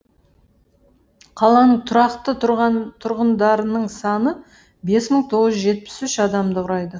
қаланың тұрақты тұрғындарының саны бес мың тоғыз жүз жетпіс үш адамды құрайды